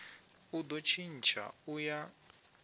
u do tshintsha u ya